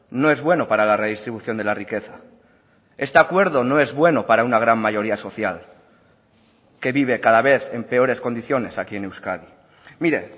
no es bueno para la redistribución de la riqueza este acuerdo no es bueno para una gran mayoría social que vive cada vez en peores condiciones aquí en euskadi mire